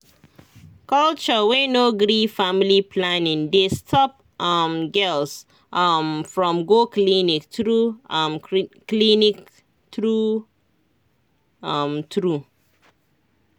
culture wey no gree family planning dey stop um girls um from go clinic true um clinic true um true